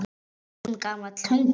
Stundum gamall hundur.